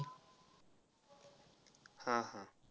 हा हा.